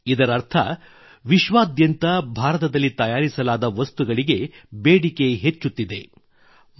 ಇದರರ್ಥ ವಿಶ್ವಾದ್ಯಂತ ಭಾರತದಲ್ಲಿ ತಯಾರಿಸಲಾದ ವಸ್ತುಗಳಿಗೆ ಬೇಡಿಕೆ ಹೆಚ್ಚುತ್ತಿದೆ